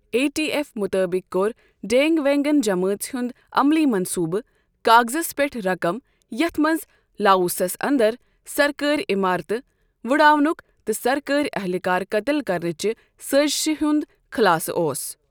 A T F مُطٲبِق کوٚر ڈینٛگ وینٛگن جمٲژ ہنٛد 'عملی منصوٗبہٕ' کاغزس پٮ۪ٹھ رقم، یَتھ منٛز لاووسَس انٛدر سرکٲرۍ عمارتہٕ وٕڑاونک تہٕ سرکٲرۍ اہلکار قتل کرنٕچہِ سٲزشہِ ہنٛد خُلاصہٕ اوس۔